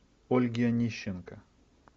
ольги онищенко